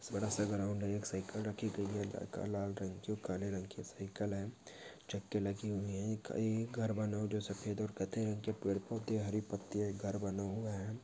बड़ासा ग्राउंड है एक साईकल रखी गई है लाल रंग की जो काले रंग की साईकल है लगी हुई है एक घर बना हुआ जो सफ़ेद और कत्थे रंग के पेड़ पौधे हरी पत्तीया है एक घर बना हुआ है।